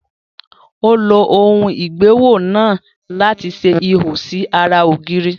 Ó lo ohùn ìgbéwò náà láti ṣe ihò sí ará ògiri